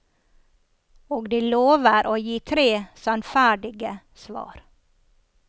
Og de lover å gi tre sannferdige svar.